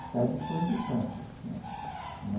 Está à disposição da senhora.